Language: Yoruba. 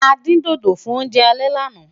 a dín dodo fún oúnjẹ alè lànà